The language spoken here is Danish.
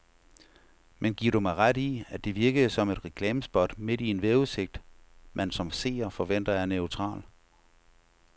Men giver du mig ret i, at det virkede som et reklamespot midt i en vejrudsigt, man som seer forventer er neutral.